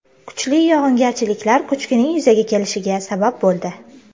Kuchli yog‘ingarchiliklar ko‘chkining yuzaga kelishiga sabab bo‘ldi.